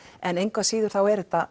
en engu að síður er þetta